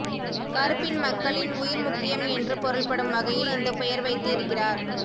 கருப்பின் மக்களின் உயிர் முக்கியம் என்று பொருள்படும் வகையில் இந்த பெயர் வைத்து இருக்கிறார்